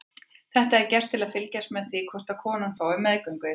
Þetta er gert til að fylgjast með því hvort konan fái meðgöngueitrun.